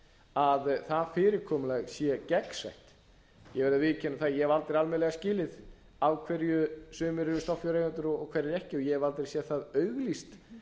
að það fyrirkomulag sé gegnsætt ég verð að viðurkenna að ég hef aldrei almennilega skilið af hverju sumir eru stofnfjáreigendur og hverjir ekki og ég hef aldrei séð auglýst